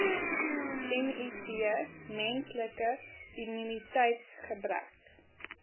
miv menslike immuniteitsgebrek